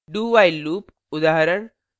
do… while loop